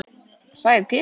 sagði Pétur.